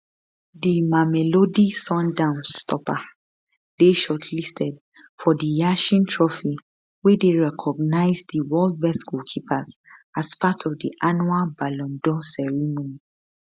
di mamelodi sundowns stopper dey shortlisted for di yashin trophy wey dey recognise di world best goalkeepers as part of di annual ballon dor ceremony